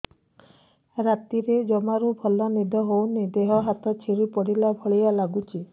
ରାତିରେ ଜମାରୁ ଭଲ ନିଦ ହଉନି ଦେହ ହାତ ଛିଡି ପଡିଲା ଭଳିଆ ଲାଗୁଚି